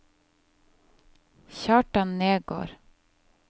Kjartan Nergård